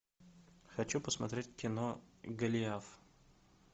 хочу посмотреть кино голиаф